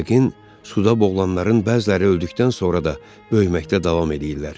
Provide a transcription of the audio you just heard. Yəqin suda boğulanların bəziləri öldükdən sonra da böyüməkdə davam eləyirlər.